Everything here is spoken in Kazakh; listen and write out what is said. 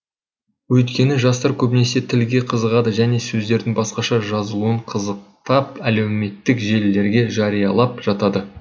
өйткені жастар көбінесе тілге қызығады және сөздердің басқаша жазылуын қызықтап әдеуметтік желілерге жариялап жатады